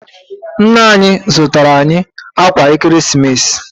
Nna anyị zụtara anyị ákwà Ekeresimesi.